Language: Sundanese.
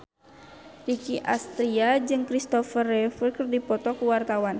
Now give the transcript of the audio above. Nicky Astria jeung Christopher Reeve keur dipoto ku wartawan